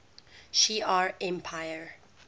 shi ar empire